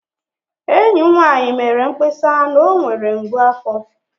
Enyi m nwanyị mere mkpesa na ọ nwere mgbu afo